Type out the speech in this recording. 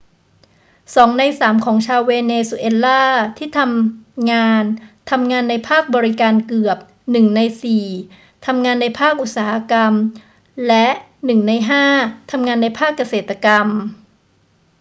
2 ใน 3 ของชาวเวเนซุเอลาที่ทำงานทำงานในภาคบริการ เกือบ 1 ใน 4 ทำงานในภาคอุตสาหกรรม และ 1 ใน 5 ทำงานในภาคเกษตรกรรม